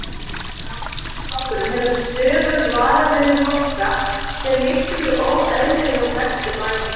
Framsóknarflokkurinn hefur stöðugt varað við þeim háska, sem liggur í óeðlilegum vexti bæjanna.